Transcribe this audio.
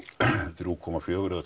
þrjá komma fjóra eða